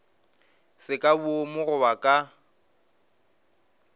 se ka boomo goba ka